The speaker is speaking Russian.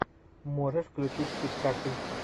можешь включить спектакль